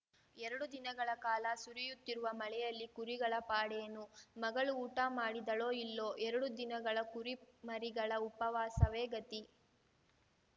ಎರಡು ದಿನಗಳ ಕಾಲ ಸುರಿಯುತ್ತಿರುವ ಮಳೆಯಲ್ಲಿ ಕುರಿಗಳ ಪಾಡೇನು ಮಗಳು ಊಟ ಮಾಡಿದಳೋ ಇಲ್ಲೊ ಎರಡು ದಿನಗಳ ಕುರಿಮರಿಗಳ ಉಪವಾಸವೇ ಗತಿ